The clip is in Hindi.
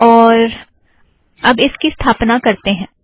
और अब इसकी स्थापना करतें हैं